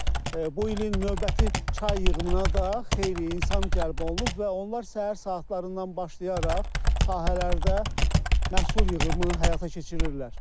Bu ilin növbəti çay yığımına da xeyli insan cəlb olunub və onlar səhər saatlarından başlayaraq sahələrdə məhsul yığımı həyata keçirirlər.